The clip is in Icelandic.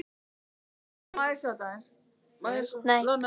Jón Ólafur og Kormákur litu hvor á annan og hristu svo hausinn.